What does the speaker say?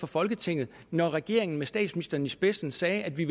folketinget når regeringen med statsministeren i spidsen sagde at vi